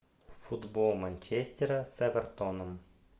футбол манчестера с эвертоном